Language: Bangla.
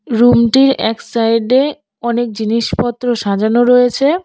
রুমটির এক সাইডে অনেক জিনিসপত্র সাজানো রয়েছে।